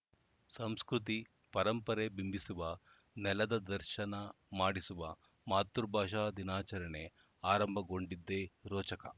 ಸಂಸ್ಕೃತಿ ಪರಂಪರೆ ಬಿಂಬಿಸುವ ನೆಲದ ದರ್ಶನ ಮಾಡಿಸುವ ಮಾತೃಭಾಷಾ ದಿನಾಚರಣೆ ಆರಂಭಗೊಂಡಿದ್ದೇ ರೋಚಕ